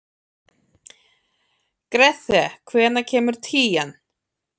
Grethe, hvenær kemur tían?